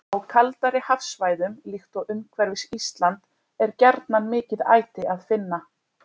Á kaldari hafsvæðum, líkt og umhverfis Ísland, er gjarnan mikið æti að finna.